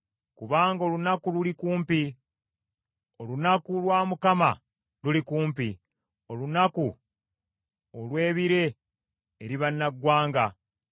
kubanga olunaku luli kumpi, olunaku lwa Mukama luli kumpi, olunaku olw’ebire eri bannaggwanga.